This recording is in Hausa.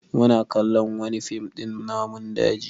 Mu na kallon wani fim din namun daji